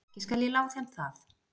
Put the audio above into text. Ekki skal ég lá þeim það.